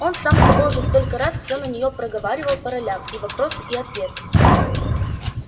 он сам с собой уже столько раз все за нее проговаривал по ролям и вопросы и ответы